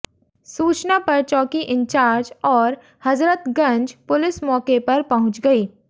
सूचना पर चौकी इंचार्ज और हजरतगंज पुलिस मौके पर पहुंच गई